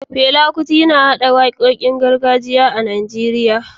Fela Kuti, yana haɗa waƙoƙin gargajiya na Najeriya da jazz